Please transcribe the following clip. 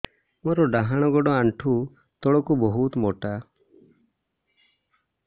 ମୋର ଡାହାଣ ଗୋଡ ଆଣ୍ଠୁ ତଳୁକୁ ବହୁତ ମୋଟା